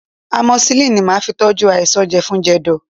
Amoxicillin ni màá fi tọ́jú àìsàn jẹ̀fun-jẹ̀dọ̀